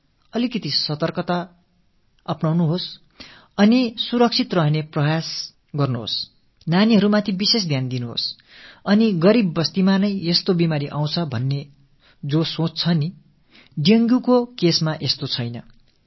தூய்மை மீது சற்று கவனத்தை செலுத்த வேண்டும் சற்று விழிப்போடு இருக்க வேண்டும் தற்காத்துக் கொள்ளும் முயற்சிகளில் ஈடுபட வேண்டும் குழந்தைகள் மீது தனி கவனம் செலுத்த வேண்டும் இந்த டெங்கு நோய் ஏதோ ஏழையின் குடிலுக்குத் தான் வருகை புரியும் என்ற எண்ணம் இருக்கிறதே அதை விடுக்க வேண்டும்